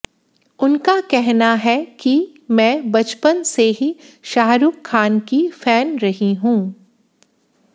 उनका कहना है कि मैं बचपन से ही शाहरूख खान की फैन रही हूं